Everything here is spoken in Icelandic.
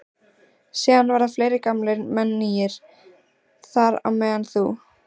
Síðan verða fleiri gamlir menn nýir, þar á meðal þú.